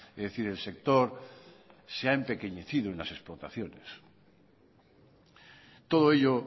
es decir el sector se ha empequeñecido en las explotaciones todo ello